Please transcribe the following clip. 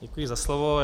Děkuji za slovo.